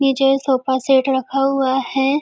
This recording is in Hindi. नीचे सोफा सेट रखा हुआ है।